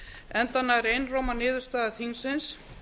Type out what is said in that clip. enda nær einróma niðurstaða þingsins